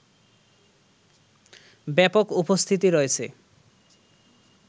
ব্যাপক উপস্থিতি রয়েছে